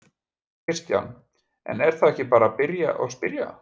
Kristján: En er þá ekki bara að byrja og spyrja?